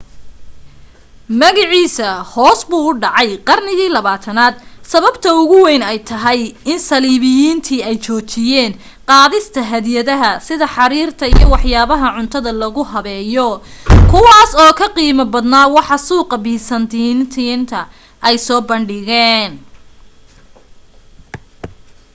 magaciisa hoos buu u dhacay qarnigii 20aad sababta ugu weyn ay tahay in saliibiyiintii ay joojiyeen qaadista hadiyadaha sida xariirta iyo waxyaabaha cuntada lagu habeeyo kuwaas oo ka qiimo badnaa waxa suuqaqa byzantine ay soo bandhigeen